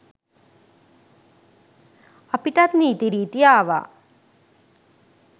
අපිටත් නීති රීති ආවා.